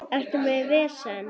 Ertu með vesen?